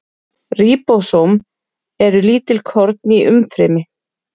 Ríbósóm eru lítil korn í umfrymi.